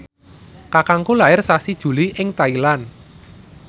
kakangku lair sasi Juli ing Thailand